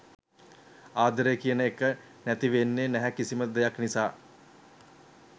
ආදරේ කියන එක නැති වෙන්නේ නැහැ කිසිම දෙයක් නිසා.